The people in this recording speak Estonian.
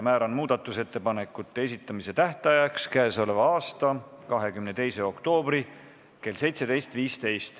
Määran muudatusettepanekute esitamise tähtajaks k.a 22. oktoobri kell 17.15.